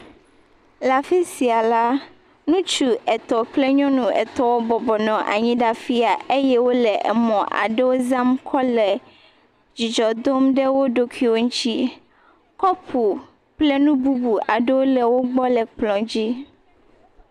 Le afisia lã ŋutsu etɔ kple nyɔnua etɔ wò nɔ bɔbɔ nɔ anyi ɖe afiya. Wole emɔ aɖewo zam kple dzidzɔ dom ɖe wò ɖokuiwò ŋuti. Kɔpu kple nu bubu aɖewo le wò gbɔ le kplɔ dzi.